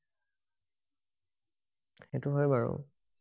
সেইটো হয় বাৰু